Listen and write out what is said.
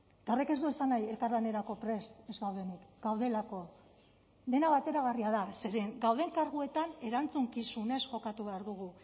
eta horrek ez du esan nahi elkarlanerako prest ez gaudenik gaudelako dena bateragarria da zeren gauden karguetan erantzukizunez jokatu behar dugu